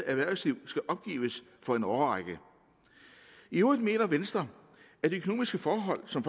erhvervsliv skal opgives for en årrække i øvrigt mener venstre at de økonomiske forhold som